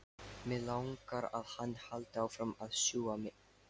Mig langar að hann haldi áfram að sjúga mig.